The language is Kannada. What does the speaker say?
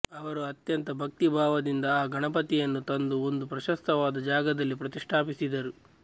ಅವರು ಅತ್ಯಂತ ಭಕ್ತಿ ಭಾವದಿಂದ ಆ ಗಣಪತಿಯನ್ನು ತಂದು ಒಂದು ಪ್ರಶಸ್ತವಾದ ಜಾಗದಲ್ಲಿ ಪ್ರತಿಷ್ಠಾಪಿಸಿದರು